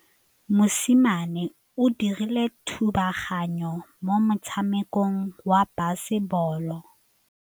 Mosimane o dirile thubaganyô mo motshamekong wa basebôlô.